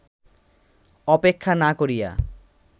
অপেক্ষা না করিয়া